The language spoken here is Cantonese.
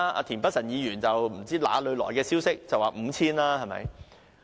田北辰議員更不知從哪裏聽來的消息，指有 5,000 支。